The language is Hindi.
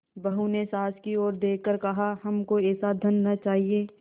बहू ने सास की ओर देख कर कहाहमको ऐसा धन न चाहिए